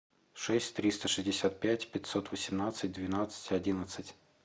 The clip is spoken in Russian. шесть триста шестьдесят пять пятьсот восемнадцать двенадцать одиннадцать